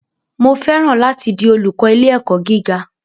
Mo fẹ́ràn láti di olúkọ̀ ilé-ẹ̀kọ́ gíga.